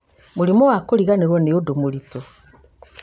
mũrimũ wa kũriganĩrwo nĩ ũndũ mũritu